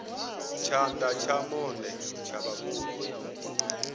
tshana tsha monde tsha vhavhoni